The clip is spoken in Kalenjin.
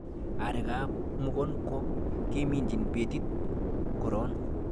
Arekab mukunkok keminjin betit koron